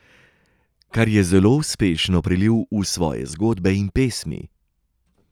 Kar je zelo uspešno prelil v svoje zgodbe in pesmi.